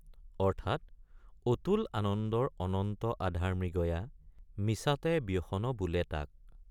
অৰ্থাৎ অতুল আনন্দৰ অনন্ত আধাৰ মৃগয়া মিছাতে ব্যসন বোলে তাক।